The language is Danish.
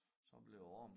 Så blev æ arm